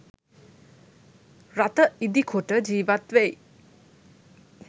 රථ ඉදිකොට ජීවත් වෙයි.